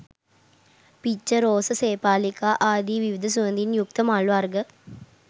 පිච්ච, රෝස, සේපාලිකා ආදි විවිධ සුවඳින් යුක්ත මල් වර්ග